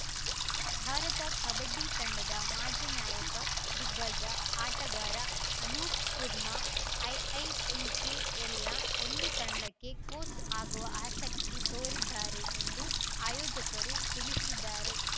ಭಾರತ ಕಬಡ್ಡಿ ತಂಡದ ಮಾಜಿ ನಾಯಕ ದಿಗ್ಗಜ ಆಟಗಾರ ಅನೂಪ್‌ ಕುರ್ಮಾ ಐಐಪಿಕೆಎಲ್‌ನ ಒಂದು ತಂಡಕ್ಕೆ ಕೋಚ್‌ ಆಗುವ ಆಸಕ್ತಿ ತೋರಿದ್ದಾರೆ ಎಂದು ಆಯೋಜಕರು ತಿಳಿಸಿದ್ದಾರೆ